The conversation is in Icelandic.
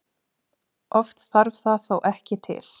Oft þarf það þó ekki til.